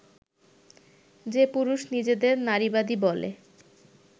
যে পুরুষ নিজেদের নারীবাদী বলে